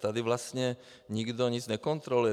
Tady vlastně nikdo nic nekontroluje.